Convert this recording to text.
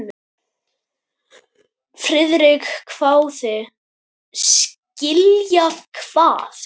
Friðrik hváði: Skilja hvað?